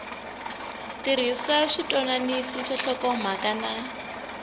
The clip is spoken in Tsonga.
tirhisa switwananisi swa nhlokomhaka na